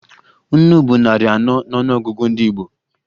Nnu bụ narị anọ n'ọnụọgụgụ ndị Igbo